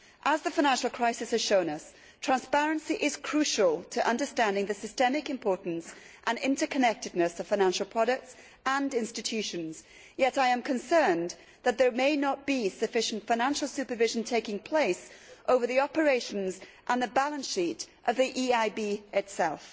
As the financial crisis has shown us, transparency is crucial to understanding the systemic importance and interconnectedness of financial products and institutions, yet I am concerned that there may not be sufficient financial supervision taking place over the operations and the balance sheet of the EIB itself.